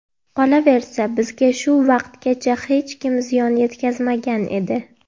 Qolaversa, bizga shu vaqtgacha hech kim ziyon yetkazmagan edi”.